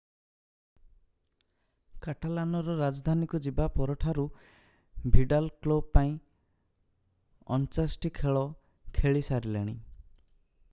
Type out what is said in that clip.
କାଟାଲାନର ରାଜଧାନୀକୁ ଯିବା ପରଠାରୁ ଭିଡାଲ କ୍ଲବ ପାଇଁ 49 ଟି ଖେଳ ଖେଳିସାରିଲେଣି